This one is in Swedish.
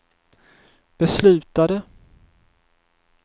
beslutade